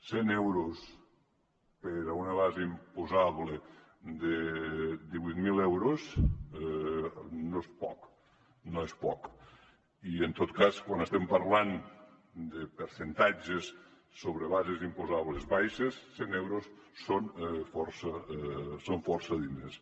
cent euros per a una base imposable de divuit mil euros no és poc i en tot cas quan estem parlant de percentatges sobre bases imposables baixes cent euros són força diners